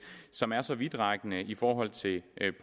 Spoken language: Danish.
som er så vidtrækkende i forhold til